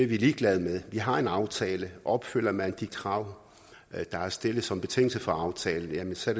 ligeglade med vi har en aftale og opfylder man de krav der er stillet som betingelse for aftalen så